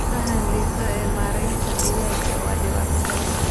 Faham liidata ee maaraynta digaaga waa dhibaato.